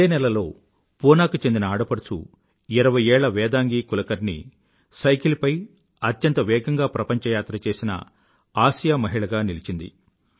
ఇదేనెలలో పూనా కి చెందిన ఆడపడుచు ఇరవై ఏళ్ళ వేదాంగీ కులకర్ణీ సైకిల్ పై అత్యంత వేగంగా ప్రపంచయాత్ర చేసిన ఆసియా మహిళగా నిలిచింది